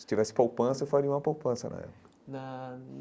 Se tivesse poupança, eu faria uma poupança na época na.